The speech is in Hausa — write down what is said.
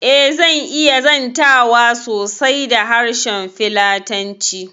Eh, zan iya zantawa sosai da harshen filatanci